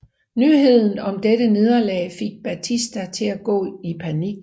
Nyheden om dette nederlag fik Batista til at gå i panik